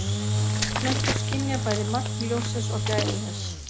plöntur skynja bæði magn ljóssins og gæði þess